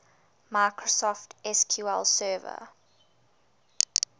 microsoft sql server